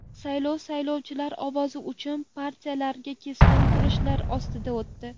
Saylov saylovchilar ovozi uchun partiyalararo keskin kurashlar ostida o‘tdi.